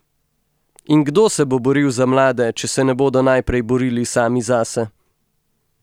In kdo se bo boril za mlade, če se ne bodo najprej borili sami zase?